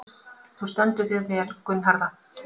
Þú stendur þig vel, Gunnharða!